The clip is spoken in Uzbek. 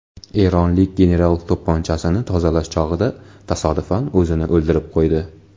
Eronlik general to‘pponchasini tozalash chog‘ida tasodifan o‘zini o‘ldirib qo‘ydi.